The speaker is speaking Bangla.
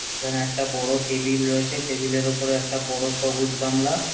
এখানে একটা বড় টেবিল রয়েছে টেবিল এর উপরে একটা বড় সবুজ গামলা।